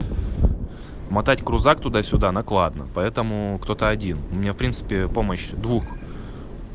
мотать крузак туда-сюда накладно поэтому кто-то один у меня в принципе помощь двух